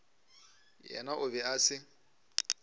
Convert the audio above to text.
yena o be a se